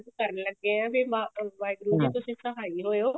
ਕਰਨ ਲੱਗੇ ਆ ਵੀ ਵਾਹਿਗੁਰੂ ਜੀ ਤੁਸੀਂ ਸਹਾਈ ਹੋਏਓ